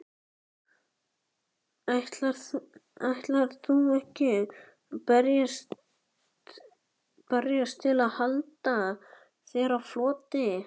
Ætlarðu ekki að berjast til að halda þér á floti?